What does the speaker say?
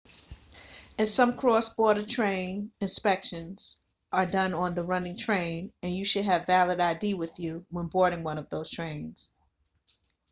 in some cross-border trains inspections are done on the running train and you should have valid id with you when boarding one of those trains